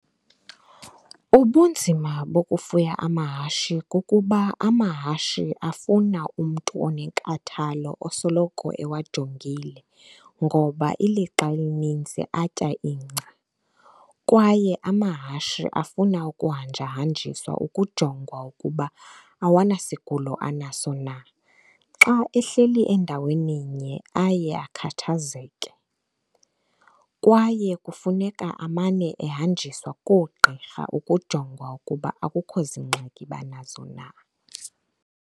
Ubunzima bokufunda amahashe kukuba amahashe afuna umntu onenkathalo osoloko ewajongile ngoba ilixa elinintsi atya ingca. Kwaye amahashe afuna ukuhanjahanjiswa ukujongwa ukuba awanasigulo anaso na. Xa ehleli endaweni-nye aye akhathazeke, kwaye kufuneka amane ahanjiswa koogqirha ukujongwa ukuba akukho zingxaki banazo na.